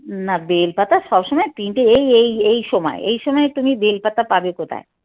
না বেল পাতা সবসময় তিনটে এই এই এই সময় এই সময় তুমি বেল পাতা পাবে কোথায়?